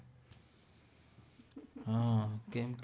હાં કેમ